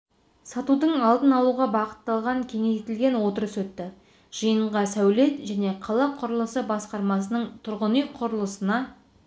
сатудың алдын алуға бағытталған кеңейтілген отырыс өтті жиынғасәулет және қала құрылысы басқармасының тұрғын үй құрылысына